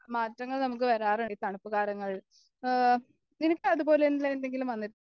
മാറ്റങ്ങൾ നമുക്ക് വരാറുണ്ട് ഈ തണുപ്പുകാലങ്ങളിൽ ഈ നിനക്ക് അതുപോലെയുള്ള എന്തെങ്കിലും വന്ന്